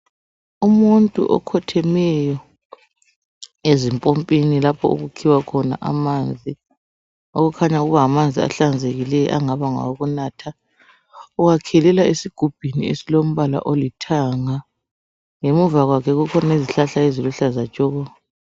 Umuntu okhothemeyo usempompini lapho okukhiwa khona amanzi okukhanya kungamanzi ahlanzekileyo angaba ngawokunatha. Uwakhelela esigubhini esilombala olithanga. Ngemuva kwakhe kukhona izihlahla eziluhlaza tshoko.